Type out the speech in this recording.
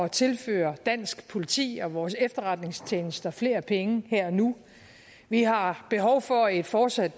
tilføre dansk politi og vores efterretningstjenester flere penge her og nu vi har behov for et fortsat